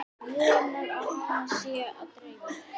Vonar að hana sé að dreyma.